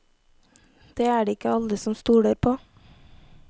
Det er det ikke alle som stoler på.